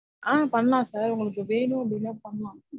ஆஹ் பண்லாம் sir. உங்களுக்கு வெணும் அப்டினா பண்லாம்.